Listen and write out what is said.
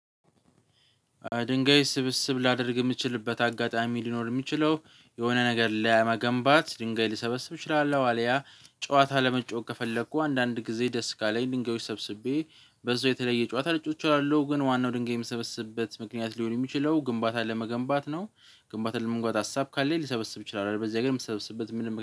ድንጋይ ስብስብ ላደርግ የምትችልበት አጋጣሚ ሊኖር የሚችለው የሆነ ነገር ለመገንባት ድንጋይ ሊሰበስብ እችላለሁ አልያ ጨዋታ ለመጫወት ከፈለኩ አንዳንድ ጊዜ ደስ ካለኝ ድንጋዮች ሰብስቤ በዛው የተለየ ጨዋታ ልጫወት እችላለሁ ግን ዋናው ድንጋይ የምሰበስብበት ምክንያት ሊሆን የሚችለው ግንባታን ለመገንባት ነው። ግንባታን ለመገንባት ሀሳብ ካለኝ ልሰበስብ እችላለሁ አለበለዚያ ግን የምትሰበስብበት ምንም